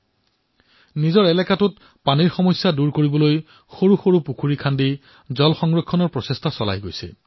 তেওঁ নিজৰ এলেকাত পানীৰ সমস্যা দূৰ কৰিবলৈ বিচাৰিছে